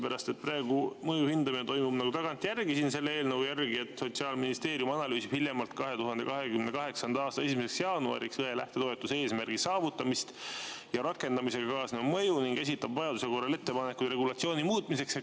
Praegu toimub mõju hindamine selle eelnõu järgi nagu tagantjärgi: "Sotsiaalministeerium analüüsib hiljemalt 2028. aasta 1. jaanuariks apteekri lähtetoetuse eesmärgi saavutamist ja rakendamisega kaasnenud mõju ning esitab vajaduse korral ettepanekud regulatsiooni muutmiseks.